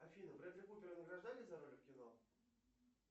афина брэдли купера награждали за роли в кино